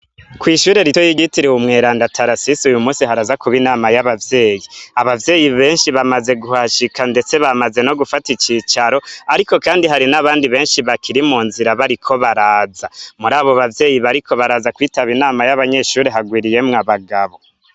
Kw'ishure rito ryitiriwe umweranda Tarasis uyu munsi haraza kuba inama y'abavyeyi, abavyeyi benshi bamaze kuhashika ndetse bamaze no gufata icicaro ariko kandi hari n'abandi benshi bakiri mu nzira bariko baraza muri abo bavyeyi bariko baraza kwitaba inama y'abanyeshuri hagwiriyemwo abagabo.